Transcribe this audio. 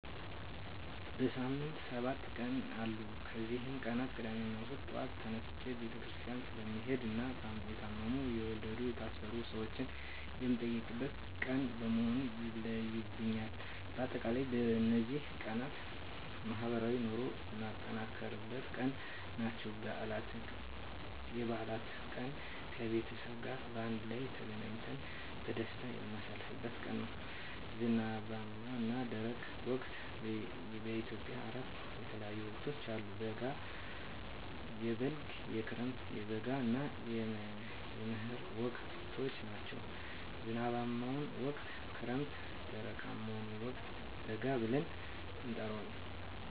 በሳምንት ሰባት ቀናት አሉ ከነዚህ ቀናት ቅዳሜና እሁድ ጧት ተነስቸ ቤተክርስቲያን ስለምሄድና የታመሙ፣ የወለዱ፣ የታሰሩ ሰወችን የምጠይቅበት ቀን በመሆኑ ይለዩብኛል። በአጠቃላይ በነዚህ ቀናት ማህበራዊ ኑሮየን የማጠናክርበት ቀን ናቸው። *የበዓላት ቀን፦ ከቤተሰብ ጋር በአንድ ላይ ተገናኝተን በደስታ የምናሳልፍበት ቀን ነው። *ዝናባማና ደረቅ ወቅቶች፦ በኢትዮጵያ አራት የተለያዩ ወቅቶች አሉ፤ የበልግ፣ የክረምት፣ የበጋ እና የመህር ወቅቶች ናቸው። *ዝናባማውን ወቅት ክረምት *ደረቃማውን ወቅት በጋ ብለን እንጠራዋለን።